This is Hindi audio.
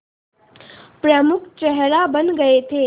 प्रमुख चेहरा बन गए थे